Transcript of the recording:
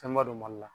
Fɛnba don mali la